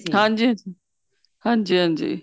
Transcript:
ਹਾਂਜੀ ਹਾਂਜੀ ਹਾਂਜੀ ਹਾਂਜੀ